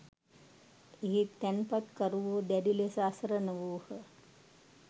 එහි තැන්පතුකරුවෝ දැඩි ලෙස අසරණ වූහ.